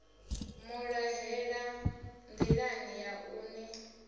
vhulahela nḓilani ya u ni